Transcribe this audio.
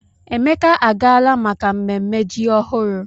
Emeka agaala maka mmemme ji ọhụrụ.